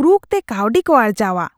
ᱠᱨᱩᱠ ᱛᱮ ᱠᱟᱹᱣᱰᱤ ᱠᱚ ᱟᱨᱡᱟᱣᱼᱟ ᱾